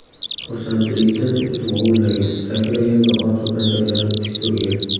Xursandchilikdan it vovullagan, sakragan va orqa panjalarida tik turgan.